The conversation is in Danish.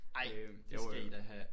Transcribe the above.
Ej! Det skal i da have